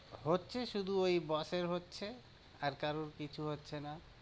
হচ্ছে শুধু ওই boss এর হচ্ছে, আর কারোর কিছু হচ্ছে না।